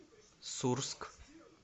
сурск